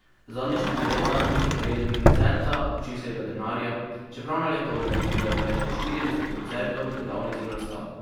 Zadnja štiri leta niso prejeli niti centa občinskega denarja, čeprav na leto organizirajo več kot štirideset koncertov, delavnic in razstav.